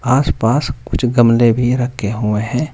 आस पास कुछ गमले भी रखे हुए हैं।